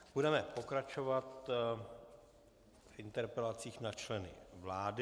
Budeme pokračovat v interpelacích na členy vlády.